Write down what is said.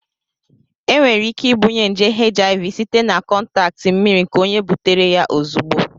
Enwere ike ibunye nje HIV site na kọntaktị mmiri nke onye butere ya ozugbo.